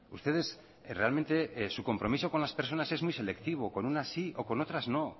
ustedes realmente su compromiso con las personas es muy selectivo con unas sí o con otras no